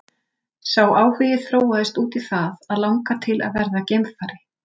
Sá áhugi þróaðist út í það að langa til að verða geimfari.